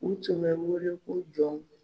U tɔnden don i ko jɔnw